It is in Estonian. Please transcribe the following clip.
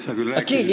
Sa küll rääkisid ...